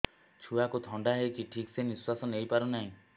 ଛୁଆକୁ ଥଣ୍ଡା ହେଇଛି ଠିକ ସେ ନିଶ୍ୱାସ ନେଇ ପାରୁ ନାହିଁ